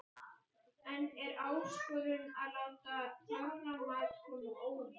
En er áskorun að láta þorramat koma á óvart?